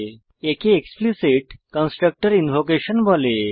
একে explicit constructor invocation বলা হয়